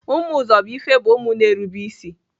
Ụmụ Uzọbuife bụ ụmụ na-erube ịsị